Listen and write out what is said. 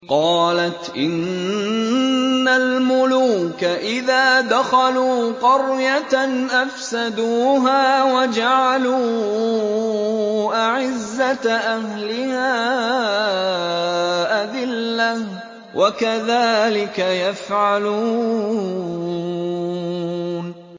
قَالَتْ إِنَّ الْمُلُوكَ إِذَا دَخَلُوا قَرْيَةً أَفْسَدُوهَا وَجَعَلُوا أَعِزَّةَ أَهْلِهَا أَذِلَّةً ۖ وَكَذَٰلِكَ يَفْعَلُونَ